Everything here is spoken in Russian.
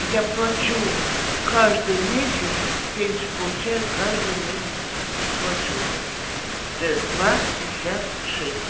я плачу каждый месяц пенсию получаю каждый месяц плачу ээ два пятьдесят шесть